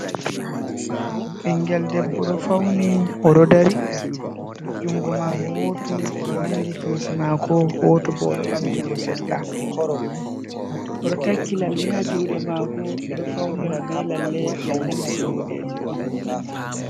Ɓingel debbo ɗo fauni oɗo dari. Jungo mako woto oɗo nangi kesi mako, woto bo oɗo ɓamti ngo seɗɗa. Oɗo takki lalle ha juɗe mako. Ɓeɗo faunira be lalle. lalle mai bo, boɗeje on.